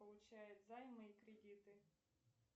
получает займы и кредиты